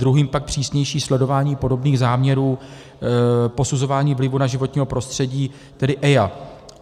Druhým pak přísnější sledování podobných záměrů posuzování vlivu na životní prostředí, tedy EIA.